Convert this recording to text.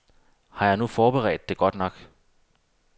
Har jeg nu forberedt det godt nok.